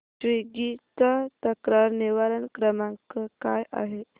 Swiggy चा तक्रार निवारण क्रमांक काय आहे